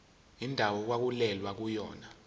indawo okwakulwelwa kuyona